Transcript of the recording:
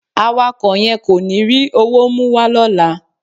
Awakọ̀ yẹn kò ní rí owó mú wá lọ́la.